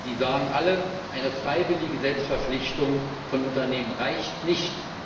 Die sagen alle Eine freiwillige Selbstverpflichtung von Unternehmen reicht nicht